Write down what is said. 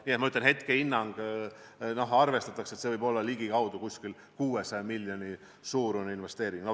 Nii et ma ütlen, hetkehinnangu põhjal arvestatakse, et see võib olla ligikaudu 600 miljoni euro suurune investeering.